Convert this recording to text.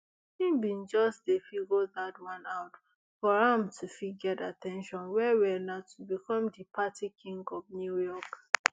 im bin just dey figure dat one out for am to fit get at ten tion wellwell na to become di party king of new york